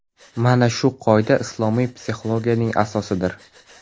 Mana shu qoida islomiy psixologiyaning asosidir.